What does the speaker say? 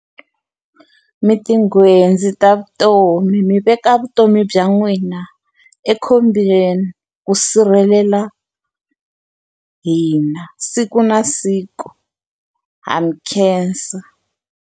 Mi ti nghwenzi ta vutomi mi veka vutomi bya n'wina ekhombyeni, ku sirhelela hina siku na siku, ha mi khensa.